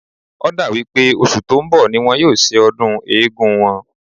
Ó dà wí pé oṣù tó ń bọ̀ ni wọ́n yóò ṣe ọdún Eégún wọn